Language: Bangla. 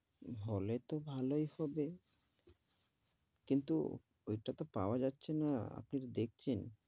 হলে তো ভালোই হবে, কিন্তু ওইটা তা পাওয়া যাচ্ছে না, আপনি তো দেখছেন,